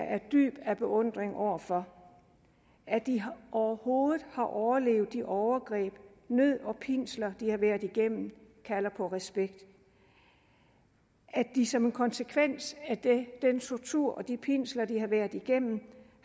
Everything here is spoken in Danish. af dyb beundring over for at de overhovedet har overlevet de overgreb nød og pinsler de har været igennem kalder på respekt at de som en konsekvens af den tortur og de pinsler de har været igennem